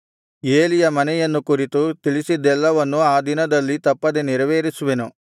ಏಲಿಯ ಮನೆಯನ್ನು ಕುರಿತು ತಿಳಿಸಿದ್ದೆಲ್ಲವನ್ನೂ ಆ ದಿನದಲ್ಲಿ ತಪ್ಪದೆ ನೆರವೇರಿಸುವೆನು